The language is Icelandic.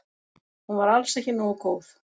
Hún var alls ekki nógu góð.